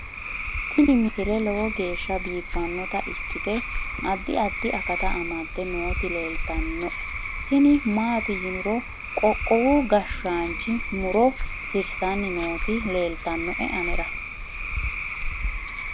tini misile lowo geeshsha biiffannota ikkite addi addi akata amadde nooti leeltannoe tini maati yiniro qoqowu gashshaanchi muro sirssani nooti leeltannoe anera